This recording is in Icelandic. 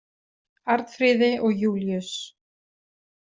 Arnfríði og Júlíus.